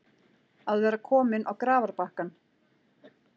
Að vera kominn á grafarbakkann